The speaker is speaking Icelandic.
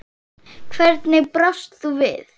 Hvernig brást þú við?